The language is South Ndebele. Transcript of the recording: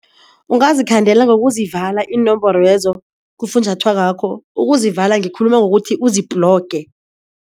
Ungazikhandela ngokuzivala iinomboro lezo kufunjathwako wakho, ukuzivala ngikhuluma ngokuthi uzibhloge.